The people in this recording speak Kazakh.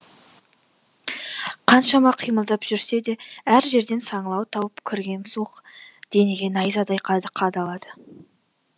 қаншама қимылдап жүрсе де әр жерден саңылау тауып кірген суық денеге найзадай қадалады